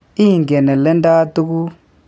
Igen aleandaa tuguk.